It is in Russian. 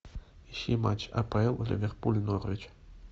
ищи матч апл ливерпуль норвич